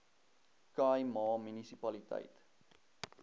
khai ma munisipaliteit